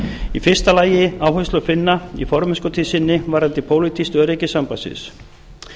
í fyrsta lagi áherslu finna í formennskutíð sinni varðandi pólitískt öryggi sambandsins